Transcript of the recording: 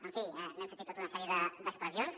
en fi n’hem sentit tota una sèrie d’expressions